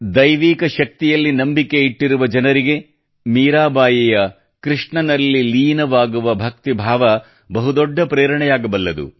ದೈವಿಕ ಶಕ್ತಿಯಲ್ಲಿ ನಂಬಿಕೆಯಿಟ್ಟಿರುವ ಜನರಿಗೆ ಮೀರಾಬಾಯಿಯ ಕೃಷ್ಣನಲ್ಲಿ ಲೀನವಾಗುವ ಭಕ್ತಿ ಭಾವ ಬಹುದೊಡ್ಡ ಪ್ರೇರಣೆಯಾಗಬಲ್ಲದು